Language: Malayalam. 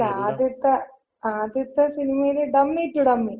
അല്ല. ആദ്യത്ത ആദ്യത്ത സിനിമയില് ഡമ്മി ടു ഡമ്മി.